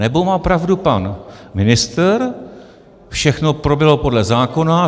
Anebo má pravdu pan ministr, všechno proběhlo podle zákona.